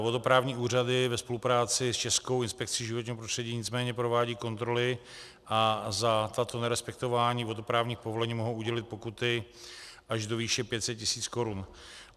Vodoprávní úřady ve spolupráci s Českou inspekcí životního prostředí nicméně provádějí kontroly a za tato nerespektování vodoprávních povolení mohou udělit pokuty až do výše 500 tisíc korun.